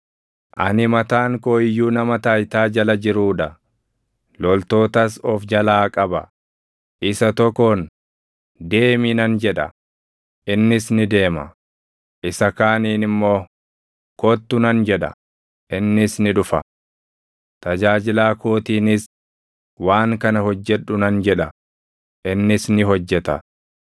Ani mataan koo iyyuu nama taayitaa jala jiruu dha; loltootas of jalaa qaba. Isa tokkoon, ‘Deemi’ nan jedha; innis ni deema; isa kaaniin immoo, ‘Kottu’ nan jedha; innis ni dhufa. Tajaajilaa kootiinis, ‘Waan kana hojjedhu’ nan jedha; innis ni hojjeta.”